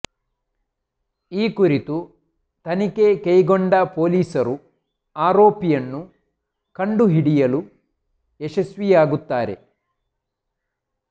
ಈ ಕುರಿತು ತನಿಖೆ ಕೈಗೊಂಡ ಪೊಲೀಸರು ಆರೋಪಿಯನ್ನು ಕಂಡುಹಿಡಿಯಲ ಯಶಸ್ವಿಯಾಗುತ್ತಾರೆ